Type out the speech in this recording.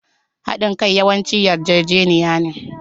Haɗin kai yawanci yarjejeniya ne.